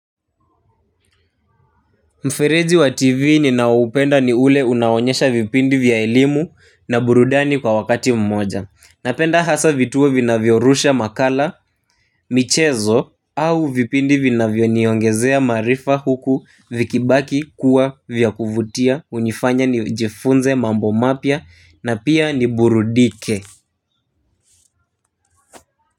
Mfereji wa tivi ninaoupenda ni ule unaonyesha vipindi vya elimu na burudani kwa wakati mmoja. Napenda hasa vituo vinavyorusha makala, michezo au vipindi vinavyoniongezea maarifa huku vikibaki kuwa vya kuvutia unifanya nijifunze mambo mapya na pia niburudike.